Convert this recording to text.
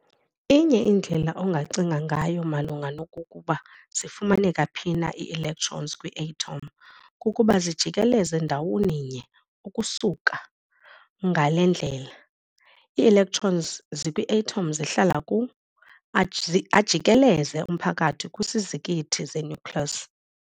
Inye indlela ongacinga ngayo malunga nokokuba zifumaneka phi na ii-electrons kwi-atom kukuba zijikeleza ndawoninye ukusuka. Ngale ndlela, ii-electrons ezikwi-atom zihlala ku-, ajikeleze umphakathi kwisizikithi se-nucleus.